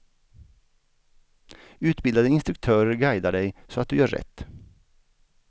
Utbildade instruktörer guidar dig så att du gör rätt.